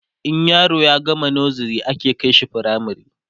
in yaro ya gama nursery ake kaishi firamare